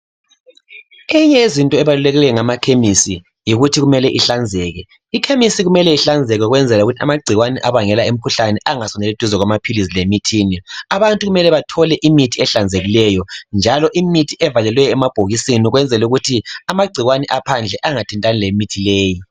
Eyinye yezinto ebaluleke ngamakhemesi yikuthi kumele ihlanzeke. Ikhemisi kumele ihlanzeke ukwenzela ukuthi amangikwane abangela imkhuhlane angasondeli duzane lamaphilisi lemithini. Abantu kumele bathole imithi ehlanzekileyo njalo imithi evaleliweyo emabhokisini ukwenzela ukuthi amangcikwane aphandle angathintani lemithi lowo.